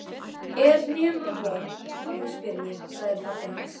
Er nema von að þú spyrjir, sagði pabbi hans.